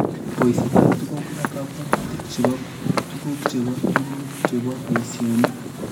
Poisyetap tuguuk ak kabwaatutik che po tuguuk che po tuguuk che po piasinik.